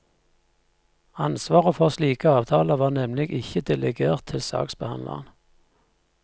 Ansvaret for slike avtaler var nemlig ikke delegert til saksbehandleren.